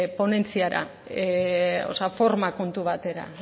ponentziara o sea forma kontu batera